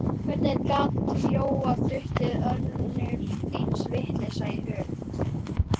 Hvernig gat Jóa dottið önnur eins vitleysa í hug?